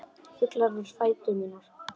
Fuglar við fætur mína.